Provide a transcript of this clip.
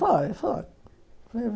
Foi, foi.